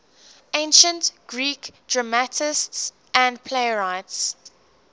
ancient greek dramatists and playwrights